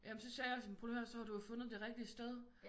Jamen så sagde jeg sådan prøv lige at hør så har du jo fundet det rigtige sted